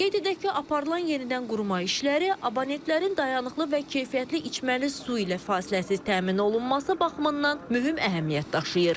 Qeyd edək ki, aparılan yenidənqurma işləri abonentlərin dayanıqlı və keyfiyyətli içməli su ilə fasiləsiz təmin olunması baxımından mühüm əhəmiyyət daşıyır.